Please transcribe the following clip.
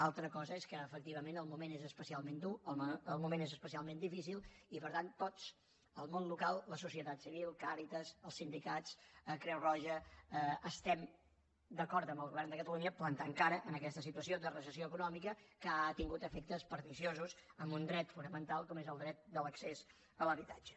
altra cosa és que efectivament el moment és especialment dur el moment és especialment difícil i per tant tots el món local la societat civil càritas els sindicats creu roja estem d’acord amb el govern de catalunya plantant cara a aquesta situació de recessió econòmica que ha tingut efectes perniciosos en un dret fonamental com és el dret de l’accés a l’habitatge